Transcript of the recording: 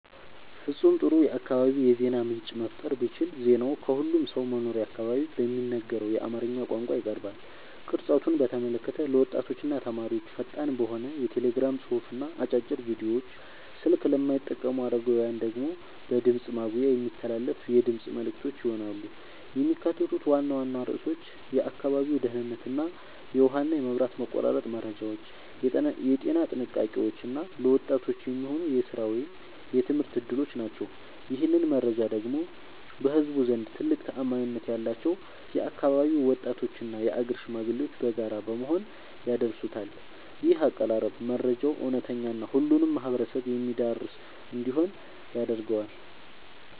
ፍጹም ጥሩ የአካባቢ የዜና ምንጭ መፍጠር ብችል ዜናው በሁሉም ሰው መኖሪያ አካባቢ በሚነገረው በአማርኛ ቋንቋ ይቀርባል። ቅርጸቱን በተመለከተ ለወጣቶችና ተማሪዎች ፈጣን በሆነ የቴሌግራም ጽሑፍና አጫጭር ቪዲዮዎች፣ ስልክ ለማይጠቀሙ አረጋውያን ደግሞ በድምፅ ማጉያ የሚተላለፉ የድምፅ መልዕክቶች ይሆናሉ። የሚካተቱት ዋና ዋና ርዕሶች የአካባቢው ደህንነት፣ የውሃና መብራት መቆራረጥ መረጃዎች፣ የጤና ጥንቃቄዎች እና ለወጣቶች የሚሆኑ የሥራ ወይም የትምህርት ዕድሎች ናቸው። ይህንን መረጃ ደግሞ በህዝቡ ዘንድ ትልቅ ተአማኒነት ያላቸው የአካባቢው ወጣቶችና የአገር ሽማግሌዎች በጋራ በመሆን ያደርሱታል። ይህ አቀራረብ መረጃው እውነተኛና ሁሉንም ማህበረሰብ የሚያዳርስ እንዲሆን ያደርገዋል።